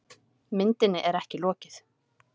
Myndinni er ekki lokið.